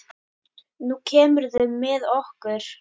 Nú kemurðu með okkur